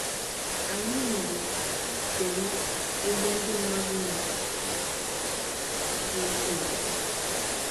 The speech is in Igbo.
Ànyị nwere Ụ̀sọ̀rụ̀ ebe ndị mmadụ nwere ike ịre ahịa n’ahịa ego Ụ́wa.